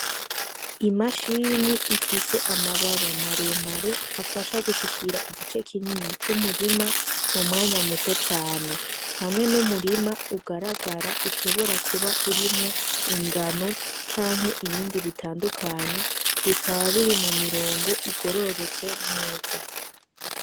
Imashini ifise amababa maremare afasha gushikira igice kinyini c'umurima mu mwanya muto cane hamwe n'umurima ugaragara ushobora kuba urimwo ingano canke ibindi bitandukanye bikaba biri mu mirongo igororotse neza.